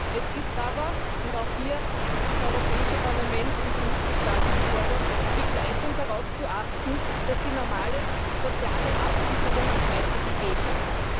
Es ist aber und auch hier sind das Europäische Parlament und die Mitgliedstaaten gefordert begleitend darauf zu achten, dass die normale soziale Absicherung weiter gegeben ist.